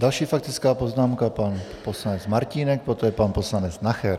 Další faktická poznámka, pan poslanec Martínek, poté pan poslanec Nacher.